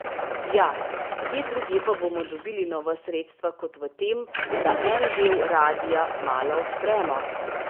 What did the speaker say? Ja, kje drugje pa bomo dobili nova sredstva kot v tem, da en del radia malo odpremo?